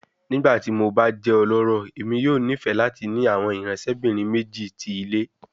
Nigbati mo ba jẹ ọlọrọ, Emi yoo nifẹ lati ni awọn iranṣẹbinrin meji ti ile